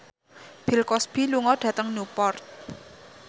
Bill Cosby lunga dhateng Newport